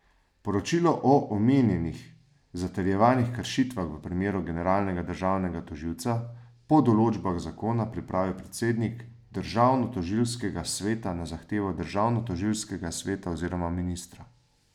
Poročilo o omenjenih zatrjevanih kršitvah v primeru generalnega državnega tožilca po določbah zakona pripravi predsednik Državnotožilskega sveta na zahtevo Državnotožilskega sveta oziroma ministra.